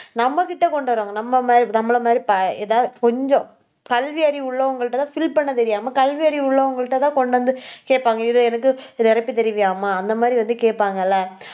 நம்ம கிட்ட கொண்டு வருவாங்க. நம்ம மா~ நம்மள மாதிரி ப~ எதாவது கொஞ்சம் கல்வி அறிவு உள்ளவங்க கிட்ட தான் fill பண்ண தெரியாம கல்வி அறிவு உள்ளவங்க கிட்ட தான் கொண்டு வந்து கேப்பாங்க. இது எனக்கு நிரப்பி தருவியாமா அந்த மாதிரி வந்து கேட்பாங்கல்ல